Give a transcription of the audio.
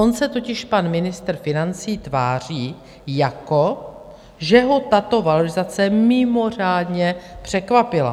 On se totiž pan ministr financí tváří, jako že ho tato valorizace mimořádně překvapila.